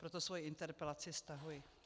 Proto svoji interpelaci stahuji.